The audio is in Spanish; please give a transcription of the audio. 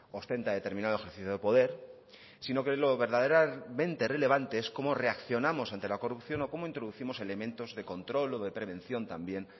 ostenta determinado ejercicio de poder sino que lo verdaderamente relevante es cómo reaccionamos ante la corrupción o cómo introducimos elementos de control o de prevención también